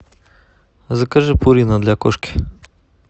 закажи пурина для кошки